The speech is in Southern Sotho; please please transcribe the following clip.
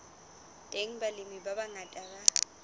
teng balemi ba bangata ba